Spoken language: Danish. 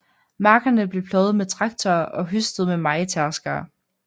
Markerne blev pløjet med traktorer og høstet med mejetærskere